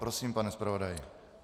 Prosím, pane zpravodaji.